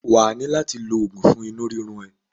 Wà á ní láti lo oògun fún inú rírun ẹ.